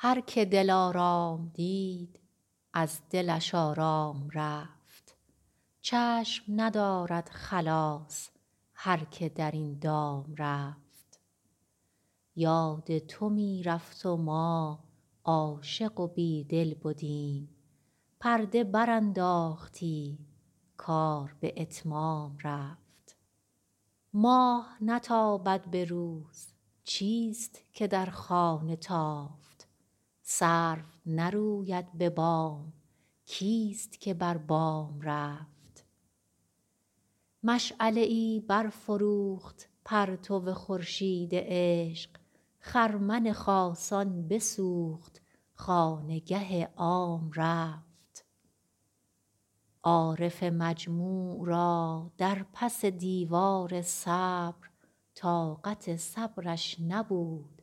هر که دلارام دید از دلش آرام رفت چشم ندارد خلاص هر که در این دام رفت یاد تو می رفت و ما عاشق و بیدل بدیم پرده برانداختی کار به اتمام رفت ماه نتابد به روز چیست که در خانه تافت سرو نروید به بام کیست که بر بام رفت مشعله ای برفروخت پرتو خورشید عشق خرمن خاصان بسوخت خانگه عام رفت عارف مجموع را در پس دیوار صبر طاقت صبرش نبود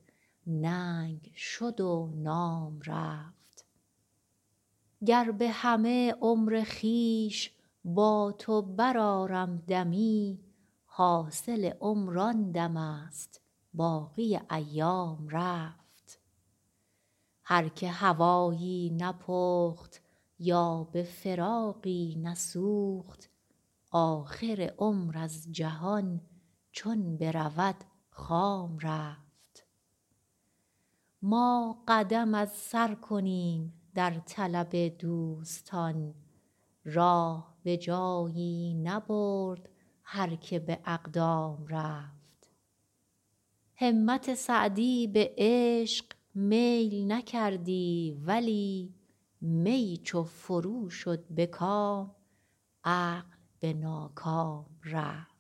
ننگ شد و نام رفت گر به همه عمر خویش با تو برآرم دمی حاصل عمر آن دمست باقی ایام رفت هر که هوایی نپخت یا به فراقی نسوخت آخر عمر از جهان چون برود خام رفت ما قدم از سر کنیم در طلب دوستان راه به جایی نبرد هر که به اقدام رفت همت سعدی به عشق میل نکردی ولی می چو فرو شد به کام عقل به ناکام رفت